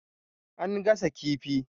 An gasa kifi.